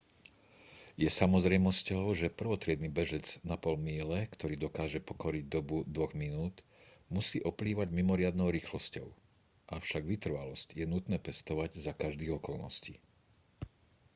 je samozrejmosťou že prvotriedny bežec na pol míle ktorý dokáže pokoriť dobu 2 minút musí oplývať mimoriadnou rýchlosťou avšak vytrvalosť je nutné pestovať za každých okolností